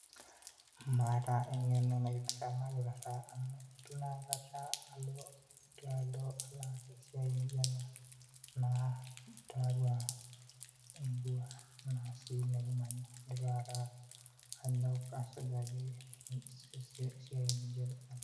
Maata eng'eno naipirta ena kipirta amu itu naikata alo tialo alo esiai nijo ena naa tiatua emurua na si nikimanya. Nitu akata anyok asujaki esiai nijo ena.